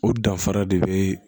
O danfara de be